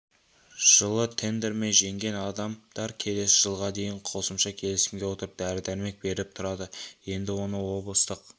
жылы тендермен жеңген адамдар келесі жылға дейін қосымша келісімге отырып дәрі-дәрмек беріп тұрады енді оны облыстық